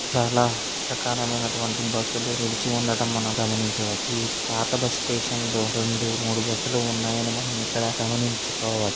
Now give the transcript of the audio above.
చాలా రకాలమైనటువంటి బస్సు లు నిలిచి ఉండడం మనం గమనించవచ్చు. ఈ పాత బస్సు స్టేషన్ లో రెండు మూడు బస్సు లు ఉన్నాయని మనము ఇక్కడ గమనించుకోవచ్చు.